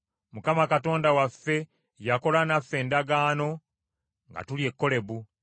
Mukama Katonda waffe yakola naffe endagaano nga tuli e Kolebu.